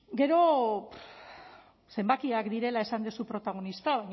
gero zenbakiak direla esan duzu protagonista